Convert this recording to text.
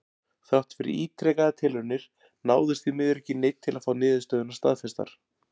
Þrátt fyrir ítrekaðar tilraunir náðist því miður ekki í neinn til að fá niðurstöðurnar staðfestar.